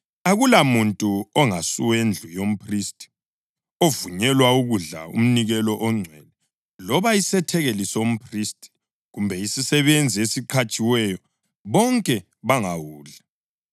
Akulamuntu ongasuwendlu yomphristi ovunyelwa ukudla umnikelo ongcwele, loba isethekeli somphristi kumbe isisebenzi esiqhatshiweyo; bonke bangawudli.